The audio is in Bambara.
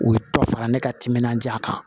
U ye dɔ fara ne ka timinan diya kan